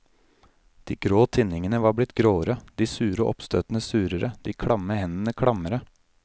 De grå tinningene var blitt gråere, de sure oppstøtene surere, de klamme hendene klammere.